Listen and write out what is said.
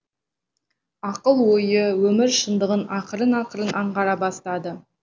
ақыл ойы өмір шындығын ақырын ақырын аңғара бастады